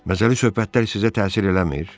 Məzəli söhbətlər sizə təsir eləmir?